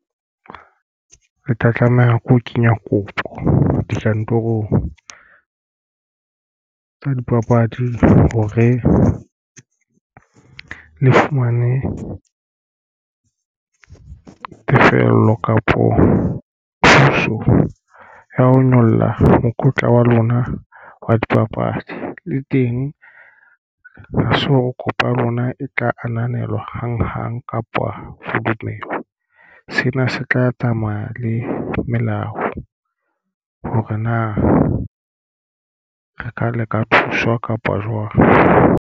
Ke tla tlameha ke ho kenya kopo dikantorong tsa dipapadi hore le fumane tefello kapo thuso ya ho nyolla mokotla wa lona wa dipapadi le teng ho so kopa lona e tla ananelwa a hang hang kapa ho dumelwa. Sena se tla tsamaya le melao hore na re ka le ka thuswa kapa jwang.